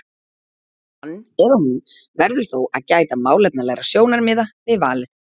Hann eða hún verður þó að gæta málefnalegra sjónarmiða við valið.